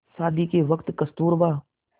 शादी के वक़्त कस्तूरबा